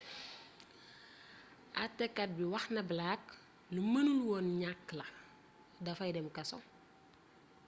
atekat bi wax na blake lu mënul woon ñakk la dafay dem kaso